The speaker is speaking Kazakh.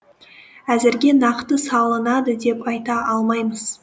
әзірге нақты салынады деп айта алмаймыз